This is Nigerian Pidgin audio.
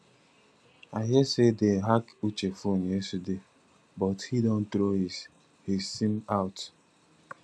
i hear say dey hack uche phone yesterday but he don throw his his sim out